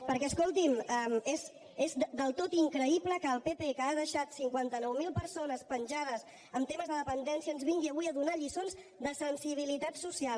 perquè escolti’m és del tot increïble que el pp que ha deixat cinquanta nou mil persones penjades amb temes de dependència ens vingui avui a donar lliçons de sensibilitat social